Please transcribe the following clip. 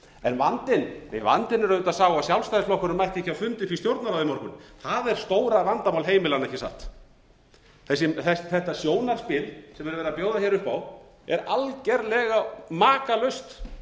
en vandinn er auðvitað sá að sjálfstæðisflokkurinn mætti ekki á fund upp í stjórnarráð í morgun það er stóra vandamál heimilanna ekki satt þetta sjónarspil sem er verið að bjóða hér upp á er algerlega makalaust